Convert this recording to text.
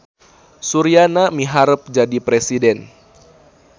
Suryana miharep jadi presiden